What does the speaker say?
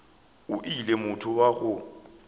o le motho wa go